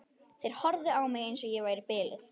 Þeir horfðu á mig eins og ég væri biluð.